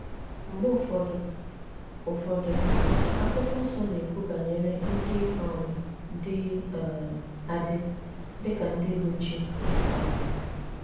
Mgbe ụfọdụ, ụfọdụ, Akwụkwọ Nsọ na - ekwu banyere ndị um dị um adị dị ka ndị bụ́ chi um.